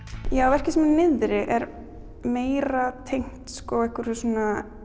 verkið sem er niðri er meira tengt einhverju svona